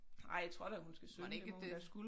Ej tror da hun skal synge det må hun da